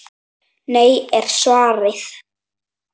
Nei er svarið.